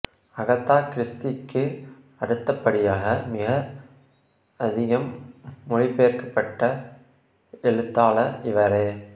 Agatha கிறிஸ்டிக்கு அடுத்தபடியாக மிக அதிகம் மொழிபெயர்க்கப்பட்ட எழுத்தாளர் இவரே